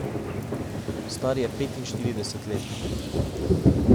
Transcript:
Star je petinšestdeset let.